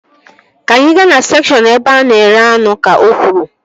Ka anyị gaa na sekshọn ebe a na-ere anụ! Ka o kwuru